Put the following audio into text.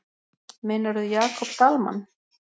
Meinarðu Jakob Dalmann?